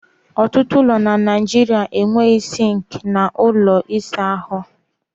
Ọtụtụ ụlọ na Naijiria enweghị sinki na ųlo ịsa ha.